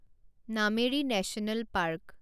Nameri national park